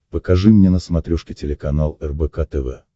покажи мне на смотрешке телеканал рбк тв